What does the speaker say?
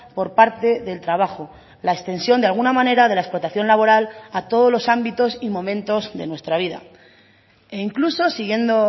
por parte del trabajo la extensión de alguna manera de la explotación laboral a todos los ámbitos y momentos de nuestra vida e incluso siguiendo